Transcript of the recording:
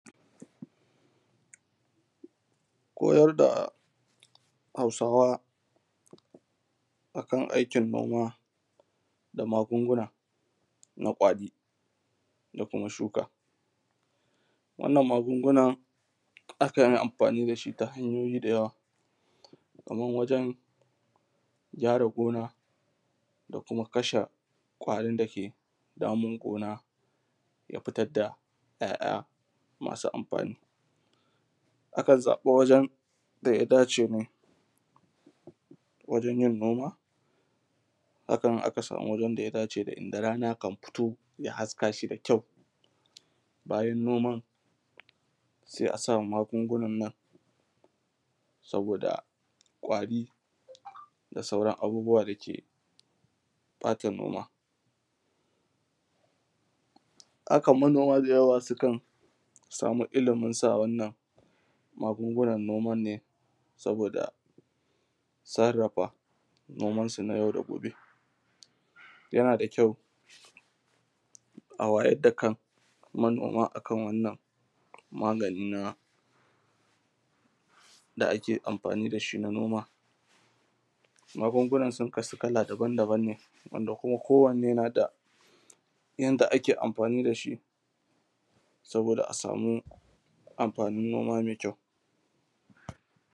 kayarda hausawa akan aikin noma da magunguna na kwari da kuma shuka wannan magunguna akanshi amfani dashi ta hanyoyi da yawa kaman waǳan gyara gona da kuma kashe kwarin da yake damun gona da fitad da kyakya masu anfani a kan zabi waǳan da ya dace ne waǳan yin noma akan aka samu waǳan ya dace da inda rana kan fito ja haskashi da kʲau bajan noman sai asa magungu nan nan saboda kwari da sauran abubuwan dake bata noma hakan manoma da yawa sukan samu iliminsa magungu nan noma ne saboda sarrafa noman su na yau da gobe yana da kyau a wajar da kan manoma akan wannan magani da ake anfani dashi na noma magungunan sun kasu kala daban -daban ne wanda ko wanne nada yanda ake anfani dashi saboda a samu anfanin noma mai kyau